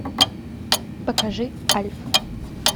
покажи альф